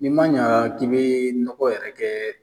Ni ma ɲa k'i be nɔgɔ yɛrɛ kɛ